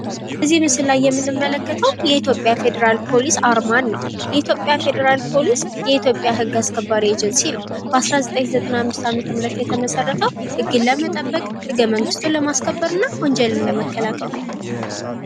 በዚህ ምስል ላይ የምንመለከተው የኢትዮጵያ ፌደራል ፖሊስ አርማን ነው። የኢትዮጵያ ፌደራል ፖሊስ የኢትዮጵያ ህግ አስከባሪ ኤጀንሲ ነው። በአስራ ዘጠኝ ዘጠና አምስት ዓመተ ምህረት የተመሠረተው ህግን ለመጠበቅ ፤ህገመንግስቱን ለማስከበርና ወንጀልን ለመከላከል ነው።